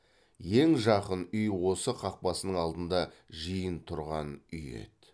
ең жақын үй осы қақпасының алдында жиын тұрған үй еді